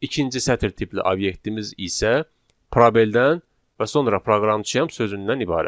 İkinci sətr tipli obyektimiz isə probeldən və sonra proqramçıyam sözündən ibarətdir.